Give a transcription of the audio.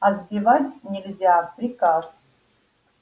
а сбивать нельзя приказ